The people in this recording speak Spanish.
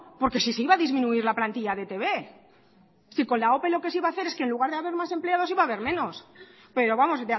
porque si se iba a disminuir la plantilla de e i te be si con la ope lo que se iba a hacer es que en lugar de haber más empleados iba haber menos pero vamos